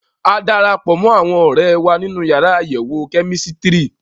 A dara pọ̀ mọ́ àwọn ọ̀rẹ́ wa nínú yàrá àyẹ̀wò kẹ́mísítírì.